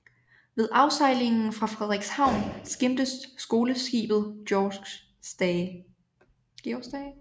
Ved afsejlingen fra Frederikshavn skimtes skoleskibet Georg Stage